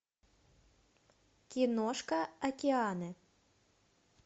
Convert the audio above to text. киношка океаны